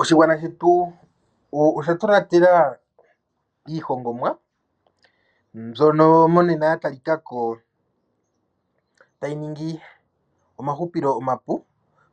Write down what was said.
Oshigwana shetu osha tonatela iihongomwa mbyono monena ya talika ko tayi ningi omahupilo omapu,